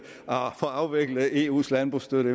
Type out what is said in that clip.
få afviklet eus landbrugsstøtte